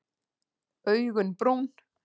Augun brún.